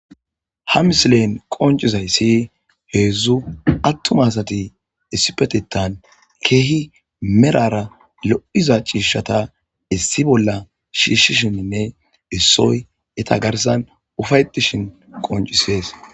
ha misleen qoncizayssi heedzdzu attuma asati issipetetan keehi merara lo7iza ciishata issi bolla shiishishinnne issoy eta garsan ufayetishin qoncisees